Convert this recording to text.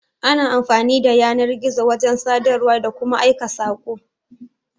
Ana amfani da yanar-gizo wajan sadarwa, da kuma Aika sako